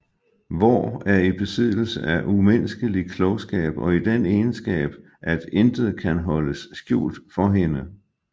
Vår er i besiddelse af umenneskelig klogskab og den egenskab at intet kan holdes skjult for hende